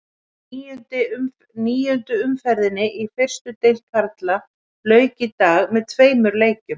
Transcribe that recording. Níundu umferðinni í fyrstu deild karla lauk í dag með tveimur leikjum.